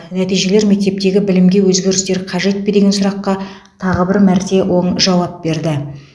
нәтижелер мектептегі білімге өзгерістер қажет пе деген сұраққа тағы бір мәрте оң жауап берді